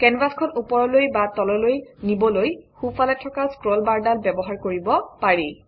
কেনভাচখন ওপৰলৈ বা তললৈ নিবলৈ সোঁফালে থকা স্ক্ৰলবাৰডাল ব্যৱহাৰ কৰিব পাৰি